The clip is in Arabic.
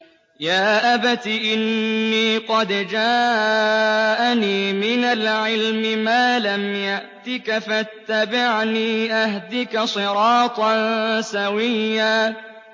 يَا أَبَتِ إِنِّي قَدْ جَاءَنِي مِنَ الْعِلْمِ مَا لَمْ يَأْتِكَ فَاتَّبِعْنِي أَهْدِكَ صِرَاطًا سَوِيًّا